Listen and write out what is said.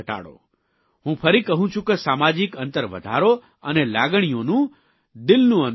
હું ફરી કહું છું સામાજીક અંતર વધારો અને લાગણીઓનું દિલનું અંતર ઘટાડો